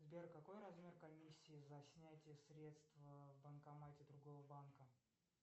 сбер какой размер комиссии за снятие средств в банкомате другого банка